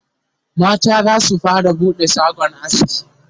mata zasu fara buɗe shagon aski